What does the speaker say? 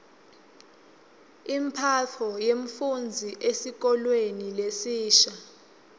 imphatfo yemfufndzi esikolweni lesisha